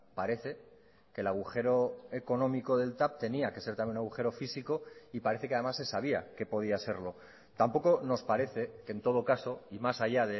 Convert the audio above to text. parece que el agujero económico del tav tenía que ser también agujero físico y parece que además se sabía que podía serlo tampoco nos parece que en todo caso y más allá